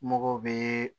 Mɔgɔw bɛ